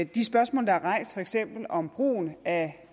de spørgsmål der er rejst for eksempel om brugen af